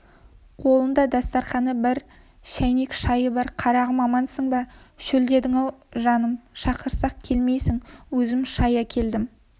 қолында дастарқаны бір шәйнек шайы бар қарағым амансың ба шөлдедің-ау жаным шақырсақ келмейсің өзім шай әкелдім